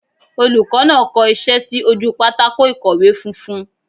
Olùkó náà ko isé sí ojú pátákó ìkọ̀wé funfun